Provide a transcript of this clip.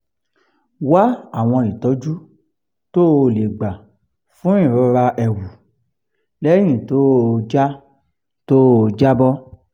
wá àwọn ìtọ́jú tó o lè gbà fún ìrora ẹ̀wù lẹ́yìn tó o já tó o já bọ́